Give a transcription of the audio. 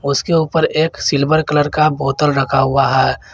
उसके ऊपर एक सिल्वर कलर का बोतल रखा हुआ है।